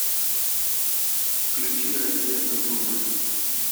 включи россия культурная